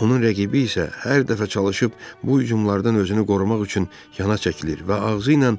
Onun rəqibi isə hər dəfə çalışıb bu hücumlardan özünü qorumaq üçün yana çəkilir və ağzı ilə